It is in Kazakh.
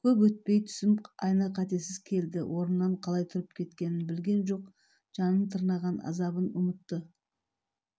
көп өтпей түсім айна-қатесіз келді орнынан қалай тұрып кеткенін білген жоқ жанын тырнаған азабын ұмытты